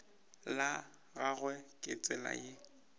la gagwe ke tsela ye